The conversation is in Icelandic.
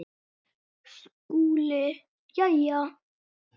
SKÚLI: Jæja!